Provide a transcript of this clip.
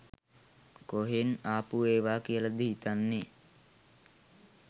කොහෙන් ආපු ඒවා කියලද හිතන්නෙ